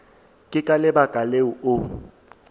ke ka lebaka leo o